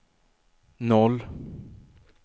noll